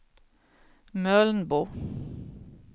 Mölnbo